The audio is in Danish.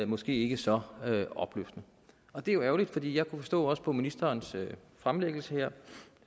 måske ikke så opløftende og det er jo ærgerligt for jeg kunne jo forstå også på ministerens fremlæggelse her